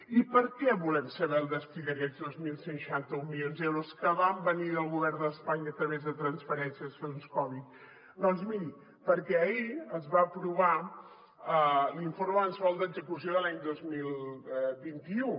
i per què volem saber el destí d’aquests dos mil cent i seixanta milions d’euros que van venir del govern d’espanya a través de transferències de fons covid doncs miri perquè ahir es va aprovar l’informe mensual d’execució de l’any dos mil vint u